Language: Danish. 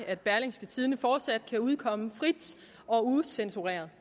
at berlingske tidende fortsat kan udkomme frit og ucensureret